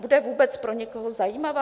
Bude vůbec pro někoho zajímavá?